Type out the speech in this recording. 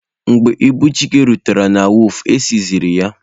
Mgbe ibu Chike rutere na wọọfụ,e sizie ya.